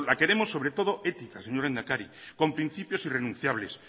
queremos sobre todo éticas señor lehendakari con principios irrenunciables